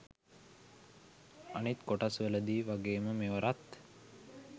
අනිත් කොටස්වල දි වගේම මෙවරත්